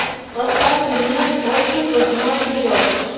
поставь фильмец отжиг восьмой эпизод